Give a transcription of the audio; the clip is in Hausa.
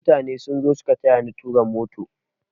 Mutane sun zo suka tayani tura motar